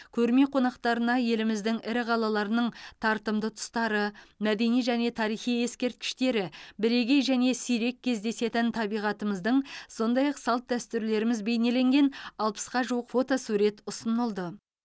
көрме қонақтарына еліміздің ірі қалаларының тартымды тұстары мәдени және тарихи ескерткіштері бірегей және сирек кездесетін табиғатымыздың сондай ақ салт дәстүрлеріміз бейнеленген алпысқа жуық фотосурет ұсынылды